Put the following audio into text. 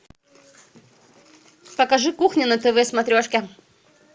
покажи кухня на тв смотрешке